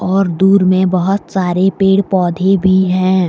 और दूर में बहोत सारे पेड़ पौधे भी हैं।